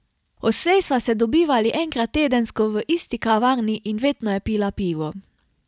Odslej sva se dobivali enkrat tedensko v isti kavarni in vedno je pila pivo.